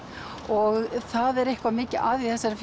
og það er eitthvað mikið að í þessari